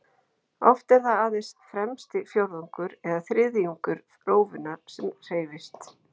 Oft er það aðeins fremsti fjórðungur eða þriðjungur rófunnar sem hreyfist.